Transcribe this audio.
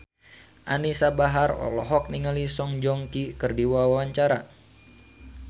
Anisa Bahar olohok ningali Song Joong Ki keur diwawancara